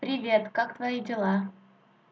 привет как твои дела